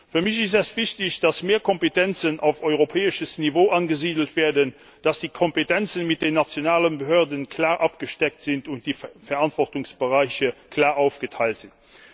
Für mich ist es wichtig, dass mehr Kompetenzen auf europäischem Niveau angesiedelt werden, dass die Kompetenzen mit den nationalen Behörden klar abgesteckt und die Verantwortungsbereiche klar aufgeteilt sind.